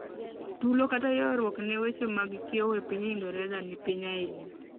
tulo kta yuaruok ne weche mag kiewo e pinyingereza ni piny ainya